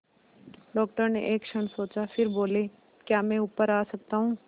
doctor ने एक क्षण सोचा फिर बोले क्या मैं ऊपर आ सकता हूँ